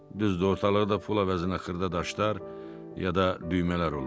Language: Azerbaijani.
Düzdü, ortalıqda pul əvəzinə xırda daşlar, ya da düymələr olurdu.